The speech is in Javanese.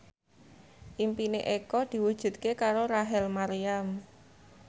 impine Eko diwujudke karo Rachel Maryam